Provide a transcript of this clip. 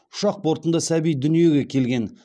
ұшақ бортында сәби дүниеге келген